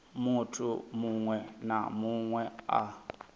munthu muṅwe na muṅwe a